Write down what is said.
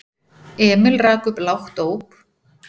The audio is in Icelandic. Emil rak upp lágt óp.